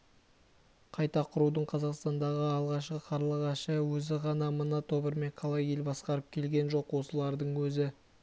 қайта құрудың қазақстандағы алғашқы қарлығашы өзі ғана мына тобырмен қалай ел басқарып келген жоқ осылардың өзі